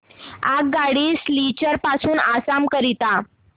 आगगाडी सिलचर पासून आसाम करीता